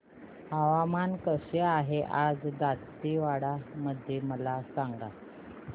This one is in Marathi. हवामान कसे आहे आज दांतेवाडा मध्ये मला सांगा